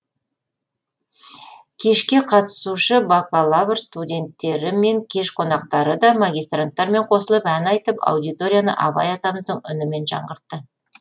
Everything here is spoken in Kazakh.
кешке қатысушы бакалавр студенттері мен кеш қонақтары да магистранттармен қосылып әнді айтып аудиторияны абай атамыздың үнімен жаңғыртты